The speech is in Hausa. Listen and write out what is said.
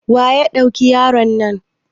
Waya duki yaro na?